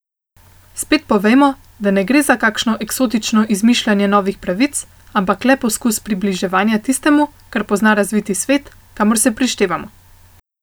Spet povejmo, da ne gre za kakšno eksotično izmišljanje novih pravic, ampak le poskus približevanja tistemu, kar pozna razviti svet, kamor se prištevamo.